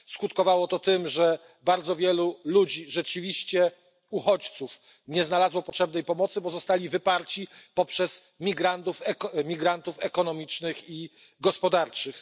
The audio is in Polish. Skutkowało to tym, że bardzo wielu ludzi rzeczywiście uchodźców nie znalazło potrzebnej pomocy, bo zostało wypartych przez migrantów ekonomicznych i gospodarczych.